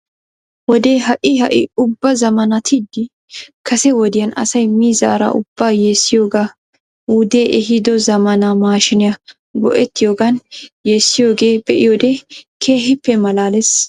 Wodee ha'i ha'i ubba zamaanattidi kase wodiyan asay miizaara ubbaa yeessiyoogaa wudee ehido zamaana maashiiniya go'etiyoogan yeessiyoogee be'iyoode keehippe malaales.